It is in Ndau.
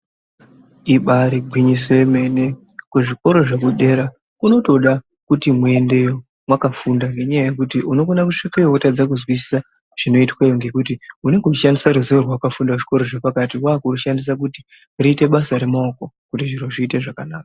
Ibari gwinyiso yemene kuzvikoro zvekudera kunotoda kuti muendeyo mwakafunda ngendaa yokuti unokona kusvikeyo wotadza kuzwisisa zvinoitweyo ngekuti unenge uchishandisa ruziwo rwawakafunda muzvikoro zvepakati wakurushandisa kuti ruite basa remaoko kuti zviro zviite zvakanaka.